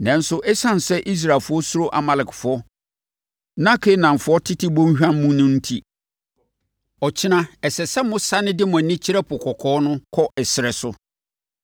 Nanso, ɛsiane sɛ Israelfoɔ suro Amalekfoɔ na Kanaanfoɔ tete bɔnhwa mu no enti, ɔkyena, ɛsɛ sɛ mosane de mo ani kyerɛ Po Kɔkɔɔ no kɔ ɛserɛ so.”